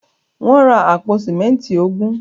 Wọ́n ra àpò símẹ́ńtì ogún.